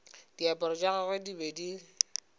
diaparo tša gagwe di be